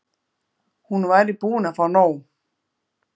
Hún væri búin að fá nóg.